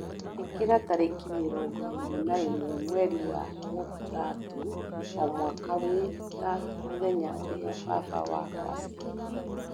ĩkĩra tarĩki mĩrongo ĩrĩ na ĩmwe mweri wa mũthatũ o mwaka wĩ ta mũthenya ũrĩa baba wakwa aciarirwo